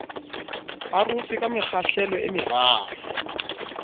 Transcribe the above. arotswe ka mekgahlelo e meraro